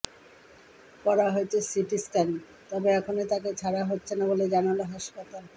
করা হয়েছে সিটিস্ক্যান তবে এখনই তাকে ছাড়া হচ্ছে না বলে জানাল হাসপাতাল